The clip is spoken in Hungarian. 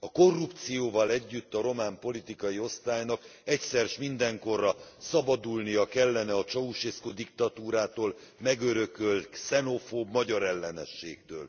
A korrupcióval együtt a román politikai osztálynak egyszer s mindenkorra szabadulnia kellene a Ceaușescu diktatúrától megörökölt xenofób magyarellenességtől.